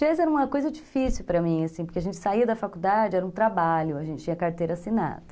Jazz era uma coisa difícil para mim, porque a gente saía da faculdade, era um trabalho, a gente tinha carteira assinada.